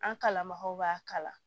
An kalanbagaw b'a kala